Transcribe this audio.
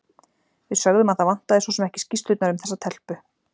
Við sögðum að það vantaði svo sem ekki skýrslurnar um þessa telpu.